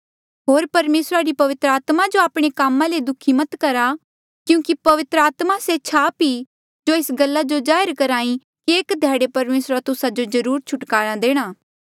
होर परमेसरा री पवित्र आत्मा जो आपणे कामा ले दुःखी मत करा क्यूंकि पवित्र आत्मा से छाप ई जो एस गल्ला जो जाहिर करही कि एक ध्याड़े परमेसरा तुस्सा जो जरुर छुटकारा देणा